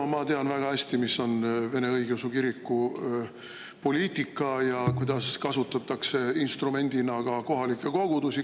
No ma tean väga hästi, mis on Vene Õigeusu Kiriku poliitika ja kuidas kasutatakse instrumendina ka kohalikke kogudusi.